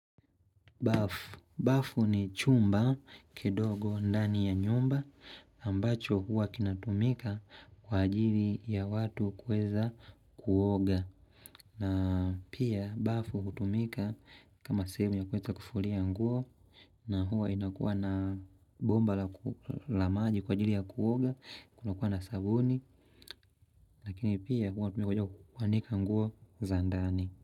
Bafu ni chumba kidogo ndani ya nyumba ambacho huwa kinatumika kwa ajili ya watu kuweza kuoga. Na pia bafu hutumika kama sehemu ya kuweka kufulia nguo na huwa inakuwa na bomba la maji kwa ajili ya kuoga kuna kuwa na sabuni. Lakini pia huwa tumika kwa joku kuanika nguo za ndani.